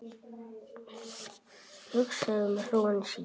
Hugsar um hróin sín.